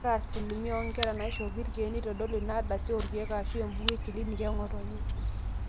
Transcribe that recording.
ore asilimia oonkera naaishooki irkeek neitodolu ina ardasi oorkeek aashu embuku eclinic eng'otonye